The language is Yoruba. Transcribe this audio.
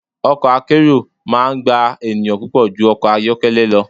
Ọkọ̀ akérò máa ń gba ènìyàn púpọ̀ ju ọkọ̀ ayọ́kẹ́lẹ́ lọ.